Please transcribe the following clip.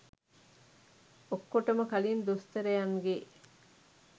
ඔක්කොටම කලින් දොස්තරයන්ගේ